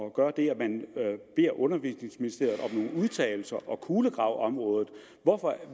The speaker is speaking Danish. at gøre det at man beder undervisningsministeriet om nogle udtalelser og kulegraver området hvorfor